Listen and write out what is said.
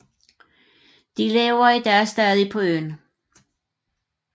De lever i dag stadig på øen